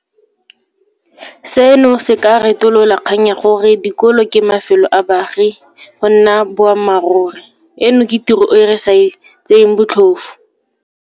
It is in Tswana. Seno se ka retolola kgang ya gore dikolo ke mafelo a baagi go nna boammaruri. Eno ke tiro e re sa e tseeng botlhofo.